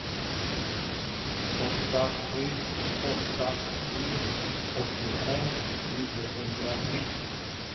åtta sju åtta tre åttiofem niohundratre